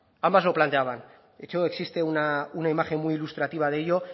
ambas lo planteaban de hecho existe una imagen muy ilustrativa de ello